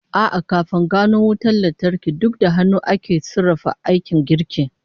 A'a, kafin a gano wutan lantarki, duk da hannu ake sarrafa aikin girki